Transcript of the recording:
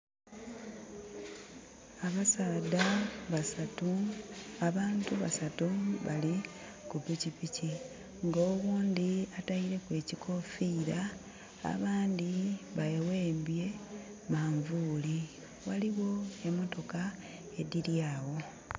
Abasaadha basatu, abantu basatu bali ku pikipiki nga owundi ataileku ekikofira abandi bewembye manvuli. Waliwo emotoka ediri awo